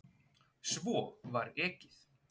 Svo var ekið.